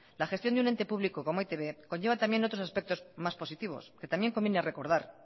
la gestión de un ente público como e i te be conlleva también otros aspectos más positivos que también conviene recordar